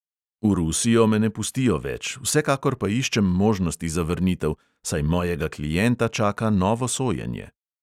V rusijo me ne pustijo več, vsekakor pa iščem možnosti za vrnitev, saj mojega klienta čaka novo sojenje.